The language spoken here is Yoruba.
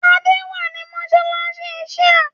Adé wà ní mọ́ṣáláṣí Shia